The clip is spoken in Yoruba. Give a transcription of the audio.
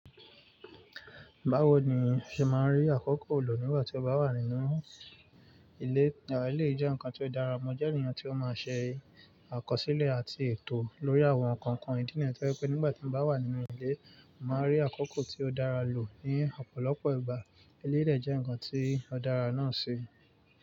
Báwo ni o ṣe máa ń rí àkókò lọ nígbà tí o bá wà nínú ilé? Eléyìí jẹ́ nǹkan tí ó dára, mo jẹ́ ènìyàn tí ó máa ń ṣe àkọsílẹ̀ àti ètò lórí àwọn nǹkan ìdí nìyẹn, tó jé pé nígbà tí mo bá wà nínú ilé, màá rí àkókò tí ó dára lò ní ọ̀pọ̀lọpọ̀ ìgbà. Eléyìí dè jẹ́ nǹkan tí ó dára náà ṣe.